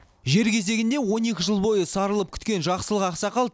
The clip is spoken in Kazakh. жер кезегінде он екі жыл бойы сарылып күткен жақсылық ақсақал